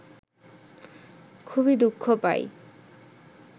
খুবই দু:খ পাই